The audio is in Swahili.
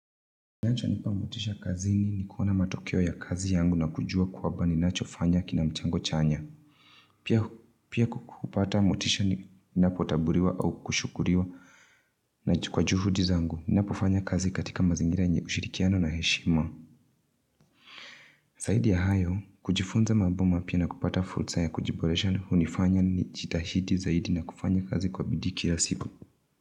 Kinacho nipa motisha kazini ni kuona matokeo ya kazi yangu na kujua kwamba ni nacho fanya kina mchango chanya. Pia kupata motisha ni napotaburiwa au kushukuriwa na kwa juhudi zangu, ni napofanya kazi katika mazingira nye ushirikiano na heshima zaidi ya hayo, kujifunza mambo mapya na kupata fursa ya kujiboresha ndio hunifanya ni jitahidi zaidi na kufanya kazi kwa bidi kila siku.